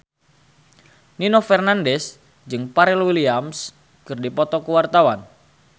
Nino Fernandez jeung Pharrell Williams keur dipoto ku wartawan